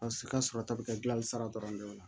A si ka sɔrɔ ta bi kɛ gilan sira dɔrɔn de ye